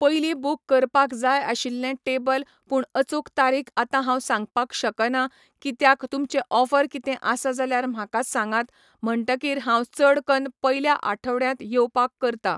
पयली बूक करपाक जाय आशिल्लें टेबल पूण अचूक तारीख आता हांव सांगपाक शकना कित्याक तुमचें ऑफर कितें आसा जाल्यार म्हाका सांगात म्हणटकीर हांव चड कन्न पयल्या आठवड्यांत येवपाक करता